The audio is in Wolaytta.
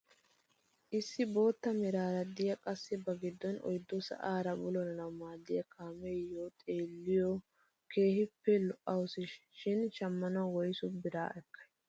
Issi bootta meraara de'iyaa qassi ba giddon oyddu sa'aara bululanawu maaddiyaa kaamiyiyoo xeelliyoo keehippe lo"awusu shin shammanawu woysu biraa ekkay?